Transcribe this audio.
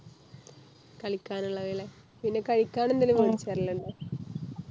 കളിക്കാനുള്ളത് അല്ലെ പിന്നെ കഴിക്കാൻ എന്തെങ്കിലും മേടിച്ചു തരലുണ്ടോ